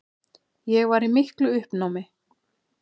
Ég var í miklu uppnámi.